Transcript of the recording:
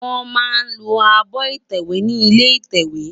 Wòn má lò ábò itèwé ni ilé itèwé